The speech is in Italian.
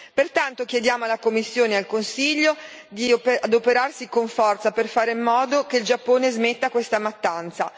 Pertanto chiediamo alla Commissione e al Consiglio di adoperarsi con forza per fare in modo che il Giappone smetta questa mattanza.